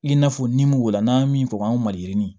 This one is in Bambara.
I n'a fɔ ni m'o la n'an ye min fɔ anw maliyirini